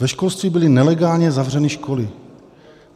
Ve školství byly nelegálně zavřené školy.